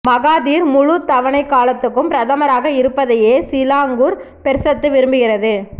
Mahathir முழுத் தவணைக் காலத்துக்கும் பிரதமராக இருப்பதையே சிலாங்கூர் பெர்சத்து விரும்புகிறது